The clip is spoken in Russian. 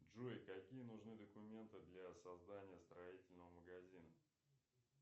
джой какие нужны документы для создания строительного магазина